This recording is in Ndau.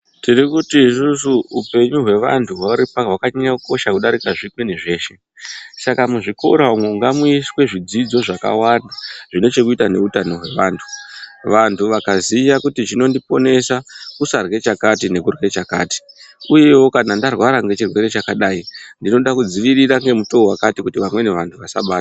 Tiri kuti isusu upenyu hwevantu hwaripa hwakanyanya kukosha kudarika zvimweni zveshe. Saka muzvikora umwo ngamuiswe zvidzidzo zvakawanda zvine chekuita neutano hwevantu. Vantu vakaziya kuti chinondiponesa kusadyra chakati nekudyra chakati. Uyewo kana ndarwara ngechirwere chakadai ndinoda kudzivirira ngemutoo wakati kuti vamweni vantu vasabatwa.